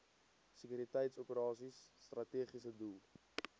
sekuriteitsoperasies strategiese doel